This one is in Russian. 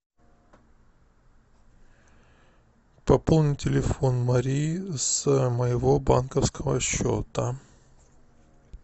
пополни телефон марии с моего банковского счета